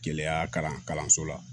Keleya kalan kalanso la